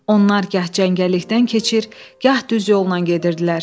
Onlar gah cəngəllikdən keçir, gah düz yolla gedirdilər.